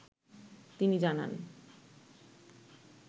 তিনি জানান ।